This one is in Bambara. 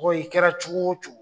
Mɔgɔ i kɛra cogo o cogo.